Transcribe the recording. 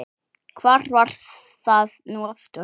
hvar var það nú aftur?